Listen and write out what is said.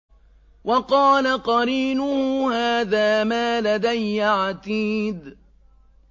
وَقَالَ قَرِينُهُ هَٰذَا مَا لَدَيَّ عَتِيدٌ